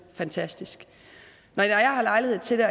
fantastisk når jeg har lejlighed til